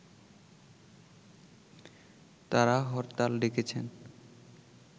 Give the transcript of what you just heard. তারা হরতাল ডেকেছেন